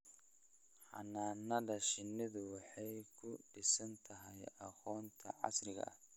Xannaanada shinnidu waxay ku dhisan tahay aqoonta casriga ah.